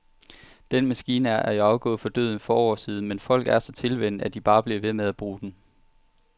Den maskine er jo afgået ved døden for år siden, men folk er så tilvænnet, at de bare bliver ved med at bruge den.